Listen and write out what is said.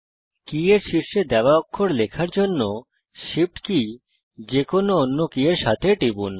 কি এর শীর্ষে দেওয়া অক্ষর লেখার জন্য Shift কি যেকোনো অন্য কি এর সাথে টিপুন